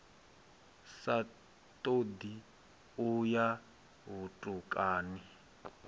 sa ṱoḓi u ya vhutukani